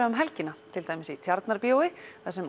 um helgina til dæmis í Tjarnarbíói þar sem